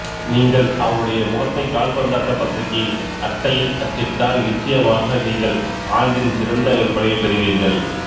நீங்கள் அவருடைய முகத்தைக் கால்பந்தாட்டப் பத்திரிகையின் அட்டையில் அச்சிட்டால் நிச்சயமாக நீங்கள் ஆண்டின் சிறந்த விற்பனையைப் பெறுவீர்கள்